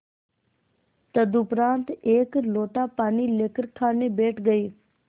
तदुपरांत एक लोटा पानी लेकर खाने बैठ गई